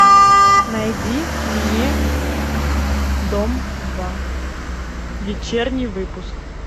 найди мне дом два вечерний выпуск